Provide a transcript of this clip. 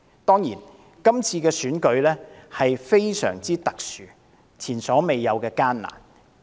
當然，今次選舉的情況相當特殊，也是前所未有的艱難。